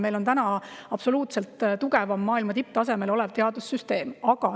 Meil on täna absoluutselt tugevaim, maailma tipptasemel teadussüsteem.